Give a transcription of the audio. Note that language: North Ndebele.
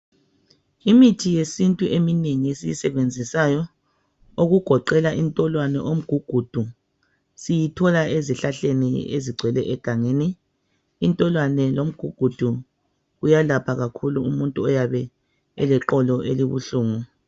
Imithi yesintu eminengi esiyisebenzisayo, okugoqela indolwani lomugugudu, siyithola ezihlahle ezigcwele egangeni. Indolwani lomugugudu kuyalapha kakhulu umuntu oyabe eleqolo elibuhlungu.